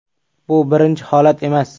Bu birinchi holat emas.